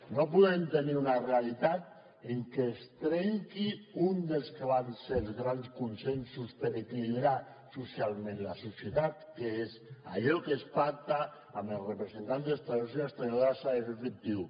no podem tenir una realitat en què es trenqui uns dels que van ser els grans consensos per equilibrar socialment la societat que és que allò que es pacta amb els representants dels treballadors i treballadores s’ha de fer efectiu